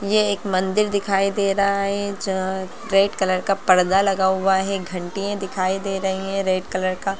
ये एक मंदिर दिखाई दे रहा है जहाँ रेड कलर का पर्दा लगा हुआ है घंटिए दिखाई दे रही है। रेड कलर का--